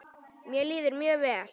Mér líður mjög vel.